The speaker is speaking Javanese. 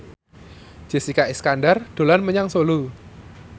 Jessica Iskandar dolan menyang Solo